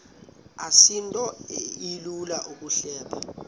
asinto ilula ukuyihleba